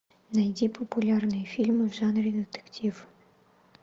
найди популярные фильмы в жанре детектив